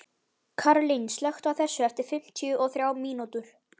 Karín, slökktu á þessu eftir fimmtíu og þrjár mínútur.